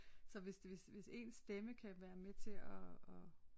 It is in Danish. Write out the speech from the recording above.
Så hvis hvis ens stemme kan være med til at at